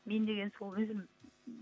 мен деген сол өзім